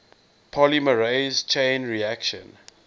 polymerase chain reaction